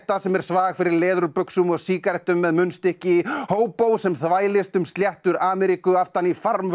sem er svag fyrir leðurbuxum og sígarettum með munnstykki sem þvælist um sléttur Ameríku aftan í